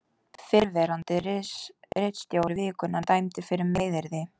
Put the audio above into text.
Fyrrverandi ritstjóri Vikunnar dæmdur fyrir meiðyrði